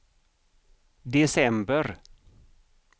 december